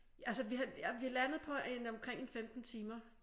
Altså vi har vi er landet på en omkring en 15 timer